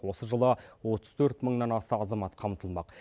осы жылы отыз төрт мыңнан аса азамат қамтылмақ